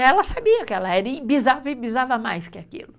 Ela sabia que ela era, e bisava e bisava mais que aquilo.